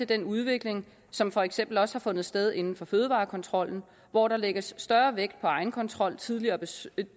den udvikling som for eksempel også har fundet sted inden for fødevarekontrollen hvor der lægges større vægt egenkontrol tidligere besøg